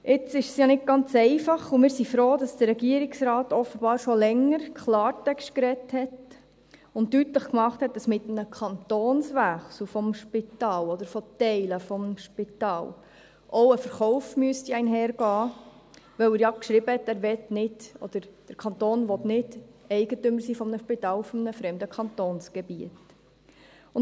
Jetzt ist es ja nicht ganz einfach, und wir sind froh, dass der Regierungsrat offenbar schon länger Klartext gesprochen und deutlich gemacht hat, dass mit einem Kantonswechsel des Spitals oder von Teilen des Spitals auch ein Verkauf einhergehen müsste, da er ja geschrieben hat, dass der Kanton nicht Eigentümer eines Spitals auf fremdem Kantonsgebiet sein möchte.